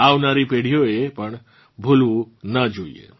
આવનારી પેઢીઓએ પણ એ ભૂલવું ના જોઇએ